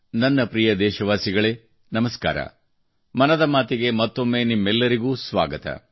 ನನ್ನ ಪ್ರಿಯ ದೇಶವಾಸಿಗಳೇ ನಮಸ್ಕಾರ ಮನದ ಮಾತಿಗೆ ಮತ್ತೊಮ್ಮೆ ನಿಮ್ಮೆಲ್ಲರಿಗೂ ಸ್ವಾಗತ